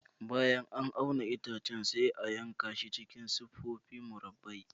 Bayan an auna itacen, sai a yanka shi cikin siffofi murabba'i.